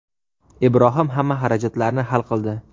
Ibrohim hamma xarajatlarni hal qildi.